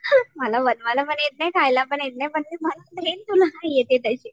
मला बनवायला पण येत नाही खायला पण येत नाही पण